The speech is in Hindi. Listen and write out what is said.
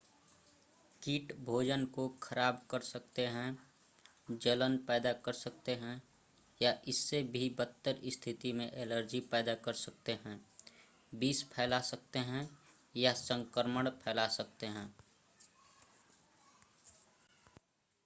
कीट भोजन को ख़राब कर सकते हैं जलन पैदा कर सकते हैं या इससे भी बदतर स्थिति में एलर्जी पैदा कर सकते हैं विष फैला सकते हैं या संक्रमण फैला सकते हैं